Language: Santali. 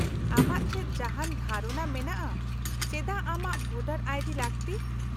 -ᱟᱢᱟᱜ ᱪᱮᱫ ᱡᱟᱦᱟᱱ ᱫᱷᱟᱨᱚᱱᱟ ᱢᱮᱱᱟᱜᱼᱟ ᱪᱮᱫᱟᱜ ᱟᱢᱟᱜ ᱵᱷᱳᱴᱟᱨ ᱟᱭ ᱰᱤ ᱞᱟᱹᱠᱛᱤ ?